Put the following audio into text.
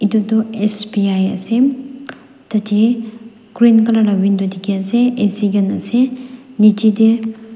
etu tu sbi ase tate green colour la window dikhi ase AC khan ase niche te.